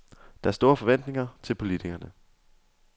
Der er store forventninger til politikerne.